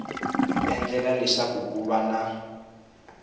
endlela leswaku ku va na